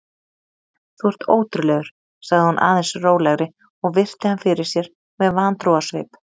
Þú ert ótrúlegur- sagði hún aðeins rólegri og virti hann fyrir sér með vantrúarsvip.